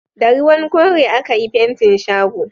Da ruwan kore a ka yi fentin shago